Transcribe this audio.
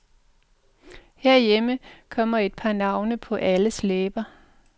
Herhjemme kom et par navne på alles læber.